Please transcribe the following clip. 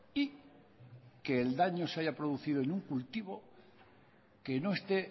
y que el daño se haya producido en un cultivo que no esté